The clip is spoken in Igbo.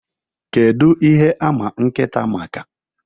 What is dog known for?